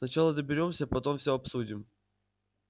сначала доберёмся потом всё обсудим